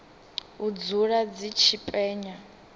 u dzula dzi tshi penya